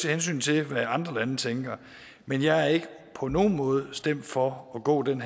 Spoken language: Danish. hensyn til hvad andre lande tænker men jeg er ikke på nogen måde stemt for at gå den